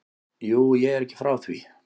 Jú, ég er ekki frá því.